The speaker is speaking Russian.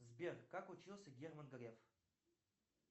сбер как учился герман греф